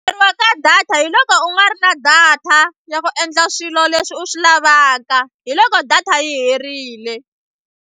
ka data hi loko u nga ri na data ya ku endla swilo leswi u swi lavaka hi loko data yi herile.